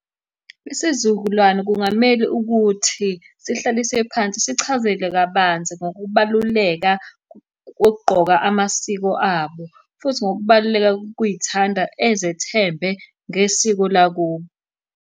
Isizukulwane kungamele ukuthi sihlaliswe phansi sichazelwe kabanzi ngokubaluleka kokugqoka amasiko abo, futhi ngokubaluleka kokuy'thanda ezethemba ngesiko lakubo.